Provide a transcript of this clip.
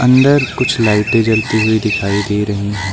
अंदर कुछ लाइटें जलती हुई दिखाई दे रही हैं।